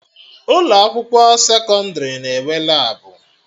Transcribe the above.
Ụkọ akwụkwọ sekọndrị na-enwe Labụ